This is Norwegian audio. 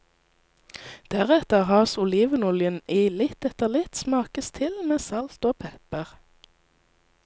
Deretter has olivenoljen i litt etter litt, smakes til med salt og pepper.